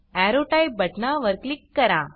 arrow type बटना वर click करा